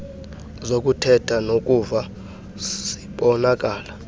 zokuthetha nokuva zibonakala